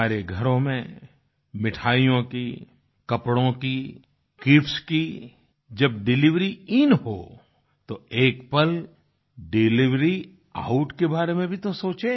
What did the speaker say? हमारे घरों में मिठाइयों की कपड़ों की गिफ्ट्स की जब डिलिवरी इन हो तो एक पल डिलिवरी आउट के बारे में भी तो सोचें